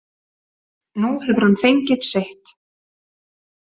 Nú hefur hann fengið sitt.